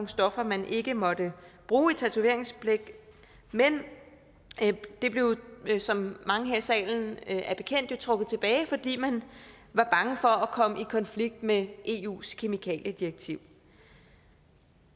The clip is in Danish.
stoffer man ikke måtte bruge i tatoveringsblæk men det blev som mange her i salen er bekendt med trukket tilbage fordi man var bange for at komme i konflikt med eus kemikaliedirektiv